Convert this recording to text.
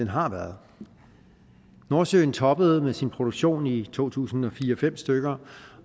har været nordsøen toppede med sin produktion i to tusind og fire til nul fem stykker